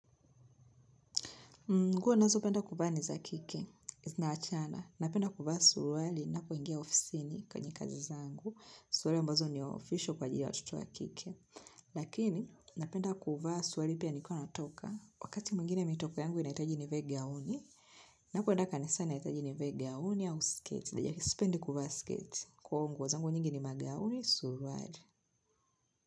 Nguo nazopenda kuvaa ni za kike, zinaachana. Napenda kuvaa suruali na kuingia ofisini kwenye kazi zangu. Suruali ambazo ni official kwa ajili ya watoto wa kike. Lakini, napenda kuvaa suruali pia nikiwa natoka. Wakati mwingine mimi top yangu inahitaji nivae gauni. Napoenda kanisani nahitaji nivae gauni au sketi. Isipendi kuvaa sketi. Kwa huo nguo zangu nyingi ni magauni surwali.